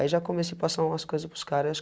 Aí já comecei a passar umas coisas para os caras.